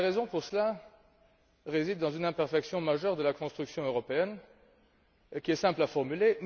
La raison se trouve dans une imperfection majeure de la construction européenne qui est simple à formuler.